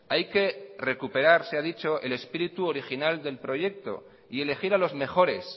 hay que recuperar se ha dicho el espíritu original del proyecto y elegir a los mejores